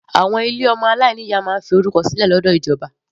Àwọn ilé ọmọ aláìní ìyá máa ń fi orúkọ sílẹ̀ lọ́dọ̀ ìjọba.